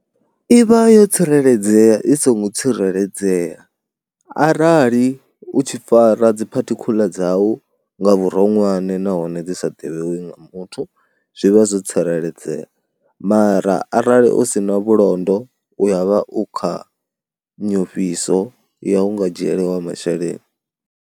I vha yo tsireledzea i songo tsireledzea arali u tshi fara dziphathikhuḽa dzau nga vhuronwane nahone dzi sa ḓivhiwi nga muthu zwi vha zwo tsireledzea mara arali u si na vhulondo u ya vha u kha nyofhiso ya u nga dzhieliwa masheleni.